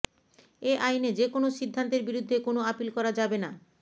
এ আইনে যেকোনো সিদ্ধান্তের বিরুদ্ধে কোনো আপিল করা যাবে না